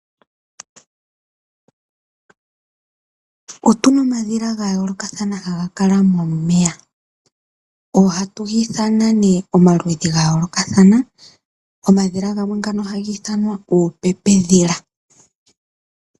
Otu na omadhila ga yoolokathana haga kala momeya. Ohatu ga ithana nee omaludhi ga yoolokathana. Omadhila ngano oha gi ithanwa uupepedhila.